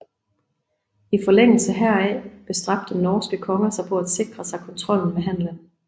I forlængelse heraf bestræbte norske konger sig på at sikre sig kontrollen med handelen